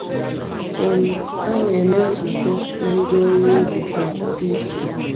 um A na-eme nzukọ na ndị ọrụ ubi kwa izu.